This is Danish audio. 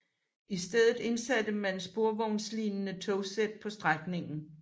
I stedet indsatte man sporvognslignende togsæt på strækningen